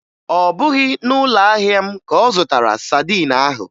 Ọ bụghị na ụlọahịa m ka ọ zụtara sadin ahụ